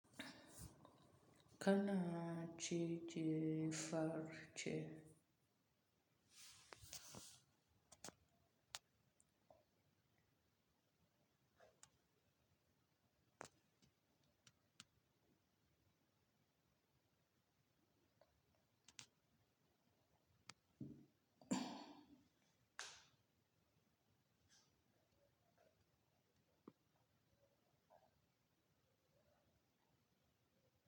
Kana ce, ce far ce.